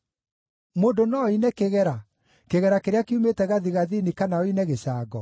“Mũndũ no oine kĩgera: kĩgera kĩrĩa kiumĩte gathigathini, kana oine gĩcango?